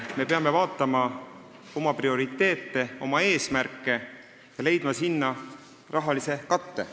Me peame vaatama oma prioriteete ja eesmärke ning leidma rahalise katte.